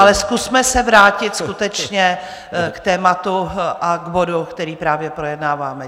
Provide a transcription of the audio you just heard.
Ale zkusme se vrátit skutečně k tématu a k bodu, který právě projednáváme.